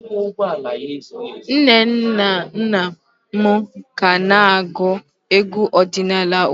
Nne na nna m ka na-agụ egwu ọdịnala ugbu a